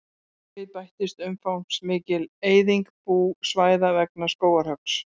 Við bættist umfangsmikil eyðing búsvæða vegna skógarhöggs.